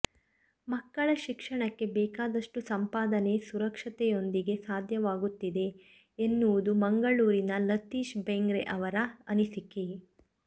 ಮಕ್ಕಳ ಶಿಕ್ಷಣಕ್ಕೆ ಬೇಕಾದಷ್ಟು ಸಂಪಾದನೆ ಸುರಕ್ಷತೆಯೊಂದಿಗೆ ಸಾಧ್ಯವಾಗುತ್ತಿದೆ ಎನ್ನುವುದು ಮಂಗಳೂರಿನ ಲತೀಶ್ ಬೆಂಗ್ರೆ ಅವರ ಅನಿಸಿಕೆ